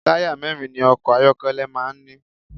Táyà mẹ́rin ni ọkọ̀ ayọ́kẹ́lẹ́ máa ń ní.